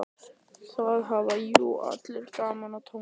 Það hafa jú allir gaman af tónlist.